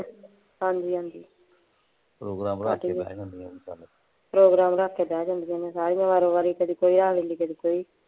ਹਾਂਜੀ ਹਾਂਜੀ